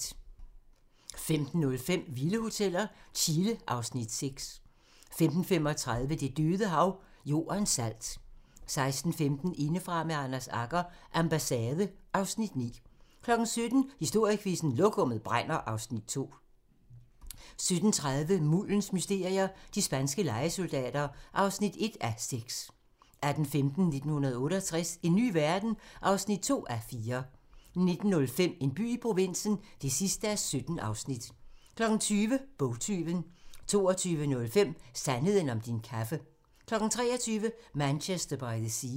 15:05: Vilde hoteller - Chile (Afs. 6) 15:35: Det Døde Hav - Jordens salt 16:15: Indefra med Anders Agger - Ambassade (Afs. 9) 17:00: Historiequizzen: Lokummet brænder (Afs. 2) 17:30: Muldens mysterier - de spanske lejesoldater (1:6) 18:15: 1968 - en ny verden? (2:4) 19:05: En by i provinsen (17:17) 20:00: Bogtyven 22:05: Sandheden om din kaffe 23:00: Manchester by the Sea